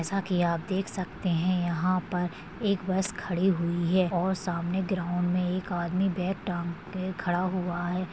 जैसा की आप देख सकते है यहा पर एक बस खड़ी हुई है और सामने ग्राउड मे एक आदमी बैग टांग के खड़ा हुआ है।